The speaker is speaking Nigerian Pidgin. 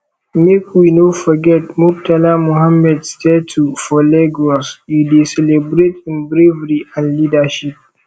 make we no forget murtala muhammed statue for lagos e dey celebrate im bravery and leadership